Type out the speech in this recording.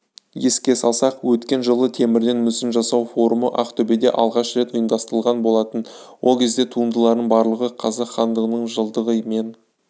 еске салсақ өткен жылы темірден мүсін жасау форумы ақтөбеде алғаш рет ұйымдастылған болатын ол кезде туындылардың барлығы қазақ хандығының жылдығы мен